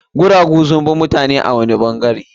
Guragu sun fi mutane a wani ɓangare.